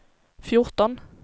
fjorton